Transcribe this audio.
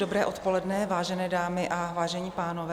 Dobré odpoledne, vážené dámy a vážení pánové.